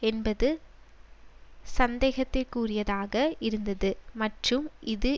என்பது சந்தேகத்திற்குரியாதாக இருந்தது மற்றும் இது